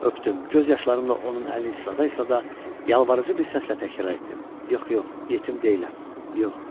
Öpdüm, göz yaşlarımla onun əlini isla-isla yalvarıcı bir səslə təkrar etdim: yox, yox, yetim deyiləm, yox.